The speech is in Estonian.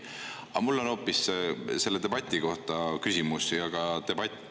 Aga mul on küsimus hoopis selle debati kohta.